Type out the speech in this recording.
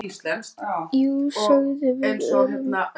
Jú, sögðum við örar.